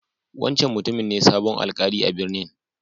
Wancan mutumin ne sabon Alkali a'birnin.